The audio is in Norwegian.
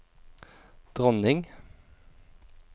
dronning